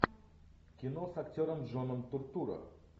кино с актером джоном туртурро